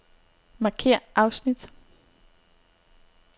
Markér afsnit.